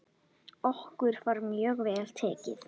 Okkur var mjög vel tekið.